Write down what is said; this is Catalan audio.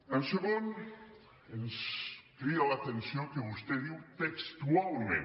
en segon lloc ens crida l’atenció que vostè diu textualment